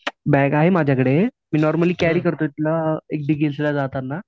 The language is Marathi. बॅग आहे माझ्या कडे मी नॉर्मली कॅरी करतो तिला ला जाताना